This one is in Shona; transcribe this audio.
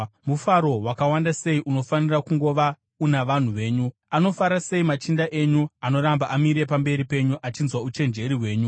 Mufaro wakawanda sei unofanira kungova una vanhu venyu! Anofara sei machinda enyu anoramba amire pamberi penyu achinzwa uchenjeri hwenyu.